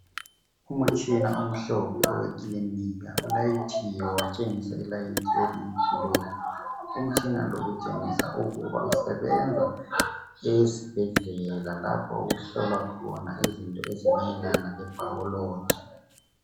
Umutshina omhlophe owekilinika ulayithiwe watshengisa i light eliyi blue umtshina utshengisa ukuba usebenza esibhedlela lapho okuhlolwa khona izinto ezimayelana le biology.